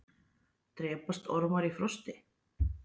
drepast ormar í frosti